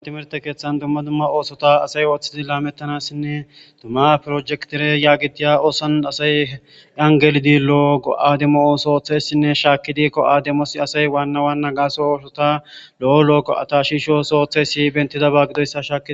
Thimirththe keeththan dumma dumma oosetha asay ooseththidi laamththanaassinne dumma projektere yaageththiya oosuwan asay an gelidi go7aa demo ooso ooththeessinne shaakkidi go7aa demossi asay waanna waanna gaasoy oosotha lo7o go7atha shiisho oosuwaa oothteesi hayssi beeththidaba gidoyssa shaakes.